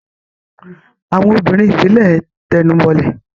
àwọn obìnrin ìbílẹ̀ ń tẹnubọlẹ̀.